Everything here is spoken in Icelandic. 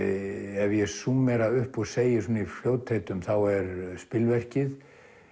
ef ég súmmera upp og segi í fljótheitum þá er spilverkið